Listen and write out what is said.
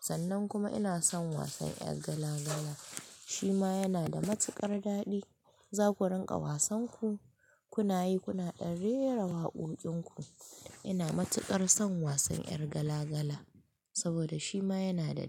Sannan kuma ina son wasan ƴar gala-gala, shi ma yana da matuƙar daɗi. Zaku rinƙa wasan ku, kunayi kuna ɗan rera waƙoƙin ku. Ina matuƙar son wasan ƴar gala-gala saboda shi ma yana da daɗi.